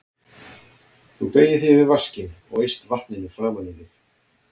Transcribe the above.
Þú beygir þig yfir vaskinn og eyst vatninu framan í þig.